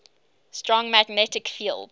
strong magnetic field